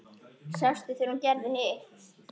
Sástu þegar hún gerði hitt?